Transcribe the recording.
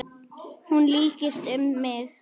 Hún lykst um mig.